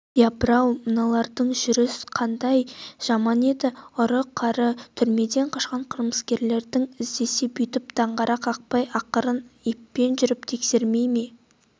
япыр-ау мыналардың жүріс қандай жаман еді ұры-қары түрмеден қашқан қылмыскерді іздесе бүйтіп даңғара қақпай ақырын еппен жүріп тексермей